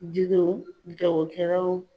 Jidenw jagokɛlaw